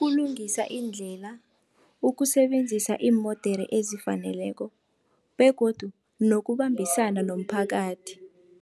Ukulungisa iindlela, ukusebenzisa iimodere ezifaneleko begodu nokubambisana nomphakathi.